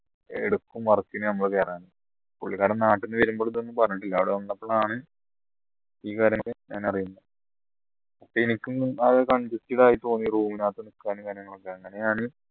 എടുക്കും work ന് നമ്മൾ കയറാൻ പുള്ളിക്കാരൻ നാട്ടിന്നു വരുമ്പോൾ ഇതൊന്നും പറഞ്ഞിട്ടില്ല അവിടെ വന്നപ്പോളാണ് ഈ കാര്യം ഞാൻ അറിയുന്നത് എനിക്കും ആകെ congested ആയി തോന്നി room അങ്ങനെയാണ്